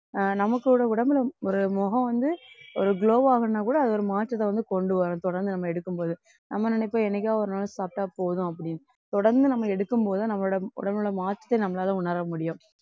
அஹ் நமக்கோட உடம்புல ஒரு முகம் வந்து ஒரு glow ஆகணும்னா கூட அது ஒரு மாற்றத்தை வந்து கொண்டு வரும் தொடர்ந்து நம்ம எடுக்கும்போது நம்ம நினைப்போம் என்னைக்காவது ஒரு நாள் சாப்பிட்டா போதும் அப்படின்னு தொடர்ந்து நம்ம எடுக்கும் போது நம்மளோட உடம்புலுள்ள மாற்றத்தை நம்மளால உணர முடியும்.